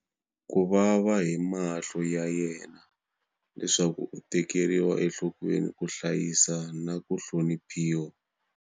Kuvava hi mahlo ya yena leswaku u tekeriwa enhlokweni, ku hlayiseka na ku hloniphiwa.